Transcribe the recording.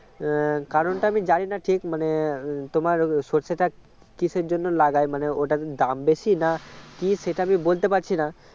উম কারণটা আমি জানি না ঠিক মানে তোমার সর্ষেটা কিসের জন্য লাগায় মানে ওটার দাম বেশি না কি সেটা আমি বলতে পারছি না